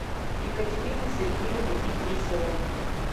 екатерины сергеевны идрисовой